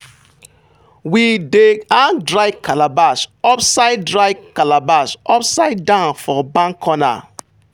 we dey hang dry calabash upside dry calabash upside down for barn corner.